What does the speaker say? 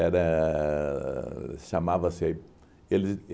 chamava-se eles